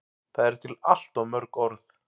Það eru til allt of mörg orð.